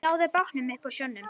Náðu bátnum upp úr sjónum